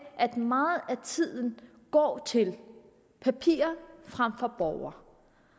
at meget af tiden går til papirer frem for borgere